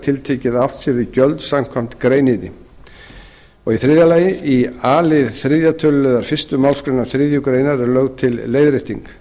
tiltekið að átt sé við gjöld samkvæmt greininni þriðji í a lið þriðja tölulið fyrstu málsgrein þriðju grein er lögð til leiðrétting